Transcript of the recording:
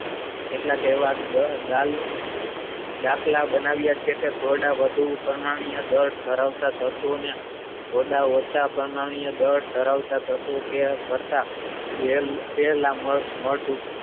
કેટલાક એવા ડાલુન દાખલ બનાવ્યા છે કે થોડા વધુ પરમાણ્વીય દળ ધરાવતા તત્વોને થોડા ઓછા પરમાણ્વીય દળ ધરાવતા તત્વ કે કરતા